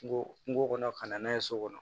Kungo kungo kɔnɔ ka na n'a ye so kɔnɔ